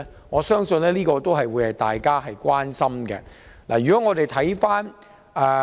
我相信這是大家關心的問題。